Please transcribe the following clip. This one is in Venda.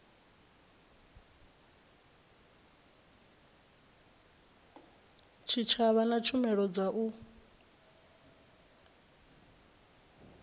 tshitshavha na tshumelo dza u